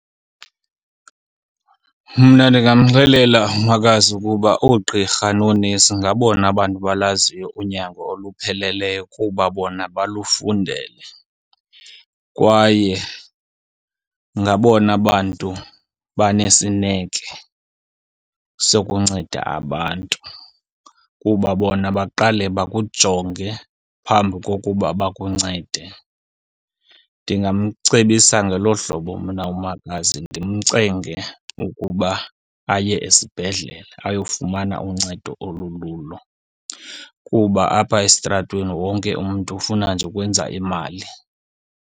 Mna ndingamxelela umakazi ukuba oogqirha noonesi ngabona bantu balaziyo unyango olupheleleyo kuba bona balufundele, kwaye ngabona bantu banesineke sokunceda abantu. Kuba bona baqale bakujonge phambi kokuba bakuncede. Ndingamcebisa ngelo hlobo mna umakazi, ndimcenge ukuba aye esibhedlele, ayofumana uncedo olululo. Kuba apha esitratweni wonke umntu ufuna nje ukwenza imali.